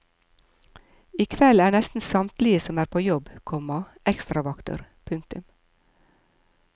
I kveld er nesten samtlige som er på jobb, komma ekstravakter. punktum